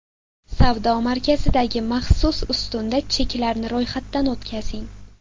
Savdo markazidagi maxsus ustunda cheklarni ro‘yxatdan o‘tkazing.